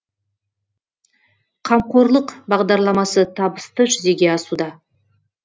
қамқорлық бағдарламасы табысты жүзеге асуда